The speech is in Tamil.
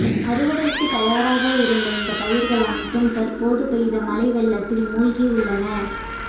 அறுவடைக்கு தயாராக இருந்த இந்த பயிர்கள் அனைத்தும் தற்போது பெய்த மழை வெள்ளத்தில் மூழ்கி உள்ளன